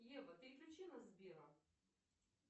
ева переключи на сбера